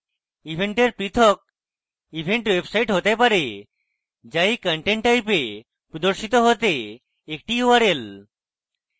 event পৃথক event website হতে পারে the এই content type a প্রদর্শিত হতে একটি url